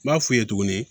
N b'a f'u ye tuguni